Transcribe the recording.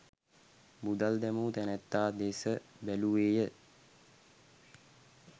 මුදල් දැමූ තැනැත්තා දෙස බැලුවේ ය.